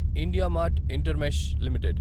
IndiaMART InterMESH limited